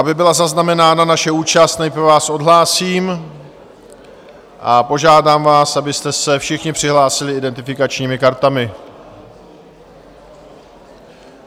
Aby byla zaznamenána naše účast, nejprve vás odhlásím a požádám vás, abyste se všichni přihlásili identifikačními kartami.